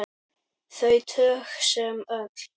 Þau tög sem öll.